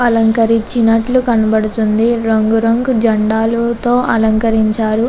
అలంకరించినట్టు కనిపిస్తుంది. ఇక్కడ రంగు రంగు జెండాలతో అలంకరించారు.